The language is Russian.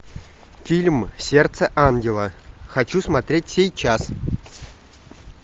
фильм сердце ангела хочу смотреть сейчас